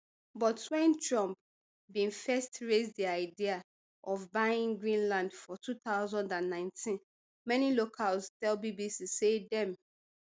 but wen trump bin first raise di idea of buying greenland for two thousand and nineteen many locals tell bbc say dem